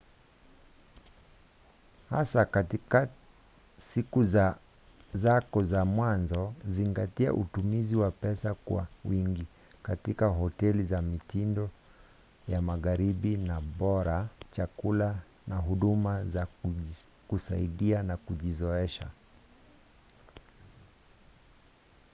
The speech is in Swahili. hasa katika siku zako za mwanzo zingatia utumizi wa pesa kwa wingi katika hoteli za mitindo ya magharibi na bora chakula na huduma za kusaidia kujizoesha